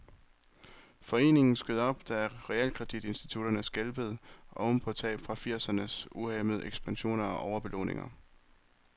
Foreningen skød op, da realkreditinstitutterne skælvede oven på tab fra firsernes uhæmmede ekspansion og overbelåninger.